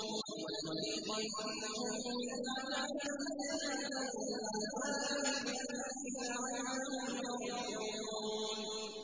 وَلَنُذِيقَنَّهُم مِّنَ الْعَذَابِ الْأَدْنَىٰ دُونَ الْعَذَابِ الْأَكْبَرِ لَعَلَّهُمْ يَرْجِعُونَ